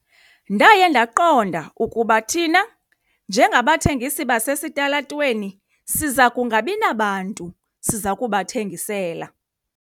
Ndaye ndaqonda ukuba thina njengabathengisi basesitalatweni siza kungabi nabantu siza kubathengisela.